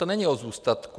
To není o zůstatku.